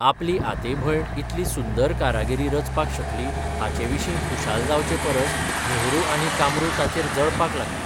आपलीआते भयण इतली सुंदर कारागिरी रचपाक शकली हाचेविशीं खुशाल जावचे परस मेहरू आनी कामरू ताचेर जळपाक लागलीं.